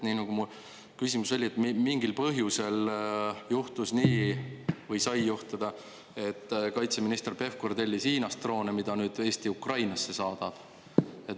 Mu küsimus oli, et mingil põhjusel juhtus nii või sai juhtuda, et kaitseminister Pevkur tellis Hiinast droone, mida nüüd Eesti Ukrainasse saadab.